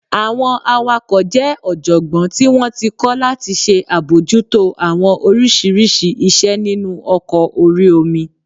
Àwọn awakọ̀ jẹ́ ọ̀jọ̀gbọ́n tí wọ́n ti kọ́ láti ṣe àbojútó àwọn oríṣiríṣi iṣẹ́ nínu ọkọ̀ orí omi